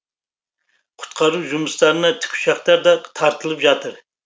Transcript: құтқару жұмыстарына тікұшақтар да тартылып жатыр